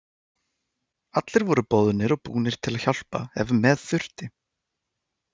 Allir voru boðnir og búnir til að hjálpa ef með þurfti.